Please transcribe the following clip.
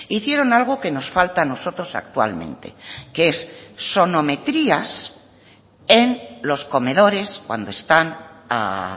hicieron algo que nos falta a nosotros actualmente que es sonometrías en los comedores cuando están a